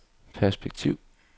perspektiv